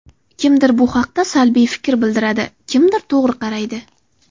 Kimdir bu haqda salbiy fikr bildiradi, kimdir to‘g‘ri qaraydi.